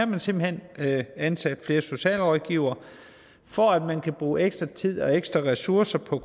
man simpelt hen ansat flere socialrådgivere for at man kan bruge ekstra tid og ekstra ressourcer på